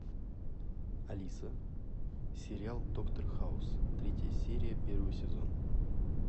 алиса сериал доктор хаус третья серия первый сезон